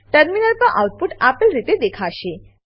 terminal પર output આપેલ રીતે દેખાશે